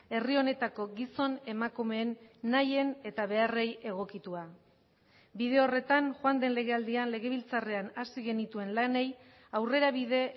herri honetako gizon emakumeen nahien eta beharrei egokitua bide horretan joan den legealdian legebiltzarrean hasi genituen lanei aurrerabide